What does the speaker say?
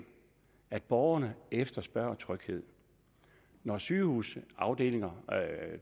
at borgerne efterspørger tryghed når sygehusafdelinger